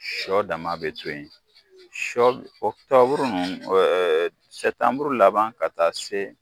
Sɔ dama bɛ to yen, sɔ oktɔburu ninnu sɛtanmuru laban ka taa se